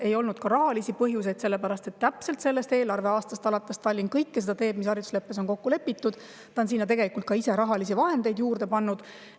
Ei olnud ka rahalisi põhjuseid, sellepärast et sellest eelarveaastast alates teeb Tallinn kõike seda, mis haridusleppes on kokku lepitud, ta on selleks ka ise rahalisi vahendeid juurde pannud.